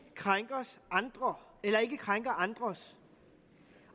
krænker andres